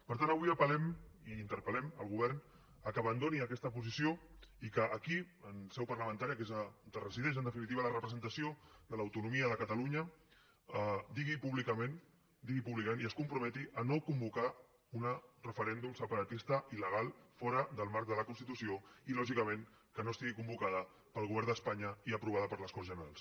per tant avui apel·lem i interpel·lem el govern que abandoni aquesta posició i que aquí en seu parlamentària que és on resideix en definitiva la representació de l’autonomia de catalunya digui públicament ho digui públicament i es comprometi a no convocar un referèndum separatista il·legal fora del marc de la constitució i lògicament que no estigui convocat pel govern d’espanya i aprovat per les corts generals